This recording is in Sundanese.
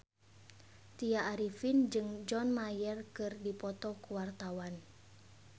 Tya Arifin jeung John Mayer keur dipoto ku wartawan